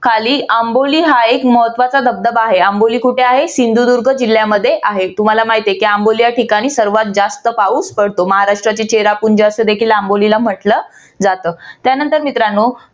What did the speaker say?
खाली आंबोली हा एक महत्वाचा धबधबा आहे. आंबोली कुठे आहे? सिंधुदुर्ग जिल्ह्यामध्ये आहे. तुम्हाला माहिती आहे की आंबोली या ठिकाणी सर्वात जास्त पाऊस पडतो. महाराष्ट्राची चेरापुंजी असे देखील आंबोलीला म्हटलं जात. त्यानंतर मित्रांनो